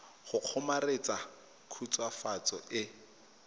go kgomaretsa khutswafatso e e